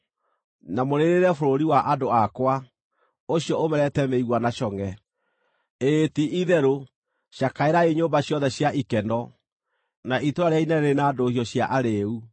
na mũrĩrĩre bũrũri wa andũ akwa, ũcio ũmerete mĩigua na congʼe: ĩĩ ti-itherũ, cakaĩrai nyũmba ciothe cia ikeno, na itũũra rĩrĩa inene rĩrĩ na ndũhiũ cia arĩĩu.